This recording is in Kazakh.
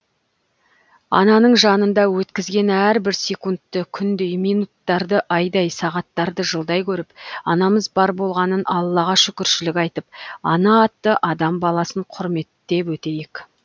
ананың жанында өткізген әрбір секундты күндей минуттарды айдай сағаттарды жылдай көріп анамыз бар болғанына аллаға шүкіршілік айтып ана атты адам баласын құрметтеп өтейік